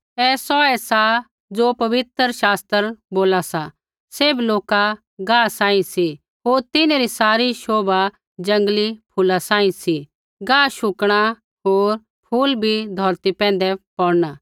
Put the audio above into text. ऐ सौऐ सा ज़ो पवित्र शास्त्र बोला सा सैभ लोका गाह रै बराबर सी होर तिन्हरी सारी शोभा जंगली फूला सांही सा गाह शुकणा होर फूल भी धौरती पैंधै पौड़ना